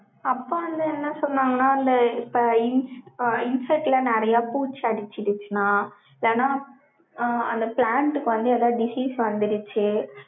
அப்பா வந்து, என்ன சொன்னாங்கன்னா, அந்த இப்ப insect ல நிறைய பூச்சி அடிச்சிடுச்சுன்னா, இல்லன்னா, அந்த plant க்கு வந்து, ஏதாவது disease வந்திடுச்சு,